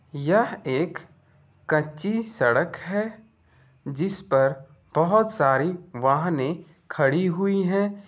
यह एक कच्ची सड़क हेै जिस पर बहुत सारी वाहनें खड़ी हुई हैं।